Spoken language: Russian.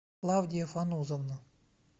клавдия фанузовна